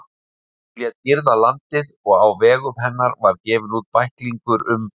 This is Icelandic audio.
Hún lét girða landið, og á vegum hennar var gefinn út bæklingur um